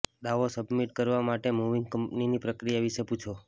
દાવો સબમિટ કરવા માટે મૂવિંગ કંપનીની પ્રક્રિયા વિશે પૂછો